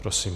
Prosím.